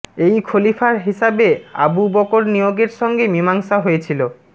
এই খলিফার হিসাবে আবু বকর নিয়োগের সঙ্গে মীমাংসা হয়েছিল